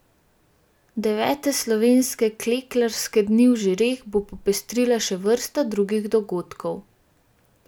Devete slovenske klekljarske dni v Žireh bo popestrila še vrsta drugih dogodkov.